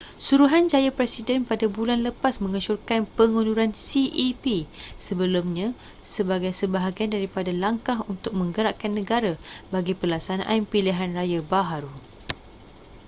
suruhanjaya presiden pada bulan lepas mengesyorkan pengunduran cep sebelumnya sebagai sebahagian daripada langkah untuk menggerakkan negara bagi pelaksanaan pilihan raya baharu